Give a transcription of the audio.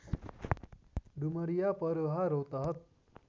Dumaria Paroha Rautahat